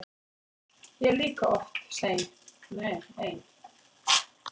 Ég er líka oft ein.